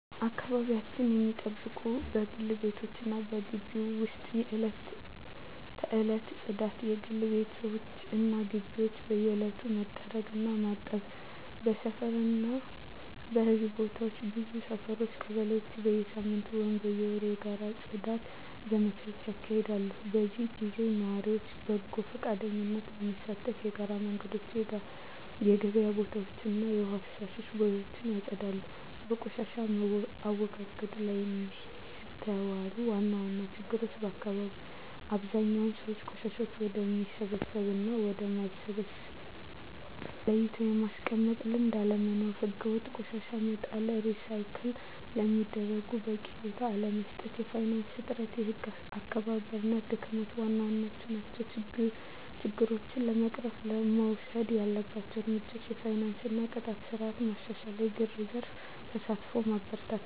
አካባቢያቸውን ሚጠብቁት በግል ቤቶች እና በግቢዎች ውስጥ የዕለት ተዕለት ጽዳት: የግል ቤቶች እና ግቢዎች በየዕለቱ መጥረግ እና ማጠብ። በሰፈር እና በሕዝብ ቦታዎች ብዙ ሰፈሮች (ቀበሌዎች) በየሳምንቱ ወይም በየወሩ የጋራ የጽዳት ዘመቻዎች ያካሂዳሉ። በዚህ ጊዜ ነዋሪዎች በጎ ፈቃደኝነት በመሳተፍ የጋራ መንገዶችን፣ የገበያ ቦታዎችን እና የውሃ ፍሳሽ ቦዮችን ያጸዳሉ። በቆሻሻ አወጋገድ ላይ የሚስተዋሉ ዋና ዋና ችግሮች አብዛኛው ሰው ቆሻሻን ወደሚበሰብስ እና ወደ ማይበሰብስ ለይቶ የማስቀመጥ ልምድ አለመኖር። ሕገወጥ ቆሻሻ መጣል፣ ሪሳይክል ለሚደረጉት በቂ ቦታ አለመስጠት፣ የፋይናንስ እጥረት፣ የህግ አስከባሪነት ድክመት ዋና ዋናዎቹ ናቸው። ችግሮችን ለመቅረፍ መወሰድ ያለባቸው እርምጃዎች የፋይናንስ እና የቅጣት ስርዓት ማሻሻል፣ የግል ዘርፍ ተሳትፎን ማበረታታት፣ …